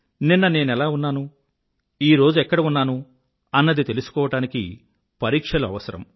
నిన్న నేనెలా ఉన్నాను ఈరోజెక్కడ ఉన్నాను అన్నది తెలుసుకోవడానికి పరీక్షలు అవసరం